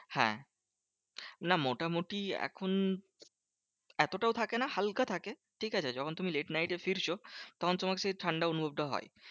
হ্যাঁ না মোটামুটি এখন এতটাও থাকে না হালকা থাকে। ঠিকাছে যখন late night এ ফিরছো তখন তোমার সেই ঠান্ডার অনুভবটা হয়।